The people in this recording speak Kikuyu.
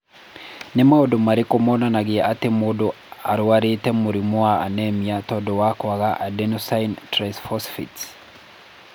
Nĩ maũndũ marĩkũ monanagia atĩ mũndũ nĩ arũarĩte mũrimũ wa Anemia tondũ wa kwaga Adenosine triphosphatase?